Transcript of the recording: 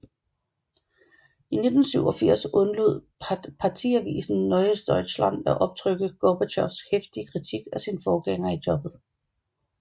I 1987 undlod partiavisen Neues Deutschland at optrykke Gorbatjovs heftige kritik af sin forgænger i jobbet